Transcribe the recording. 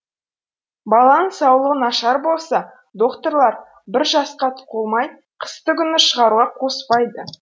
баланың саулығы нашар болса доқтырлар бір жасқа толмай қыстыгүні шығаруға қоспайды